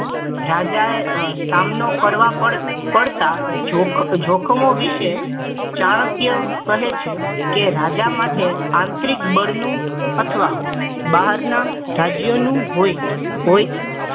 રાજા એ સામનો કરવા કરવા કરતા જોખમો જોખમો વિશે ચાણક્ય કહે છે કે રાજા માટે આંતરિક બળનું અથવા બહારના રાજ્યનું હોય હોય છે